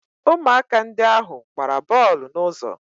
Ụmụaka ndị ahụ gbara bọọlụ n'ụzọ